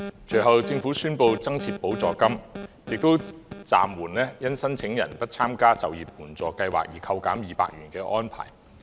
隨後，政府宣布增設就業支援補助金，並暫緩因申領人不參加中高齡就業計劃而扣減200元的安排。